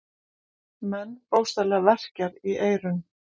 Mann bókstaflega verkjar í eyrun.